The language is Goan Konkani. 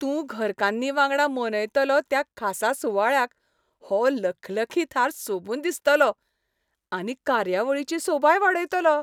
तूं घरकान्नी वांगडा मनयतलो त्या खासा सुवाळ्याक हो लखलखीत हार सोबून दिसतलो, आनी कार्यावळीची सोबाय वाडयतलो.